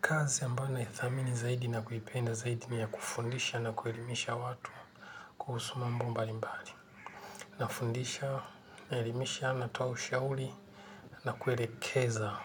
Kazi ambayo naithamini zaidi na kuipenda zaidi ni ya kufundisha na kuelimisha watu kuhusu mambo mbalimbali. Nafundisha naelimisha natoa ushauri na kuelekeza